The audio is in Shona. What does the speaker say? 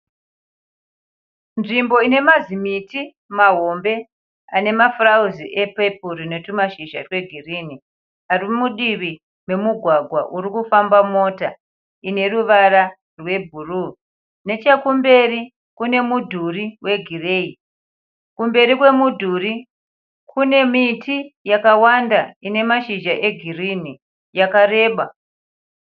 Nzvimbo ine mazimiti mahombe ane mafurauzi epepuru netwumashizha twegirinhi, ari mudivi memugwagwa uri kufamba mota ine ruvara rwebhuruu. Nechekumberi kune mudhuri wegireyi. Kumberi kwemudhuri kune miti yakawanda ine mashizha egirinhi yakareba.